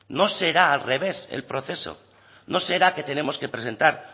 no será al revés el proceso no será que tenemos que presentar